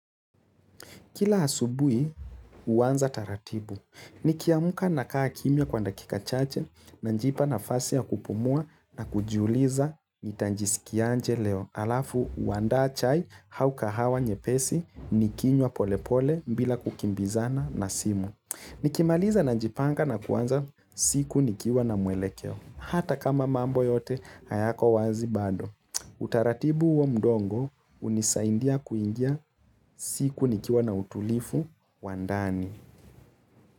Kila asubuhi, huanza taratibu. Nikiamka na kaa kimya kwa dakika chache najipa nafasi ya kupumua na kujiuliza nitajisikiaje leo. Alafu, huandaa chai au kahawa nyepesi nikinywa polepole bila kukimbizana na simu. Nikimaliza najipanga na kuanza siku nikiwa na mwelekeo. Hata kama mambo yote, hayako wazi bado. Utaratibu huo mdogo hunisaidia kuingia siku nikiwa na utulivu wa ndani.